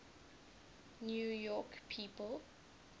new york people